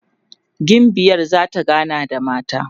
gimbiyar zata gana da mata